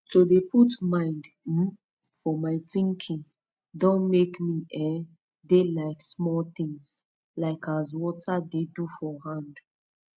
to de put mind um for my tinking don make me um de like smoll tins like as wata dey do for hand